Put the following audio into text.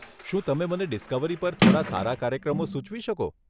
શું તમે મને ડિસ્કવરી પર થોડાં સારા કાર્યક્રમો સુચવી શકો?